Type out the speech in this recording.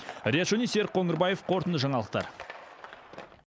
риат шони серік қоңырбаев қорытынды жаңалықтар